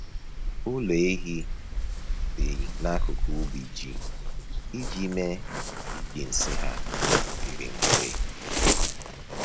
Ụlọ ehi dị n’akụkụ ubi ji iji mee ka iji nsị ha dịrị mfe.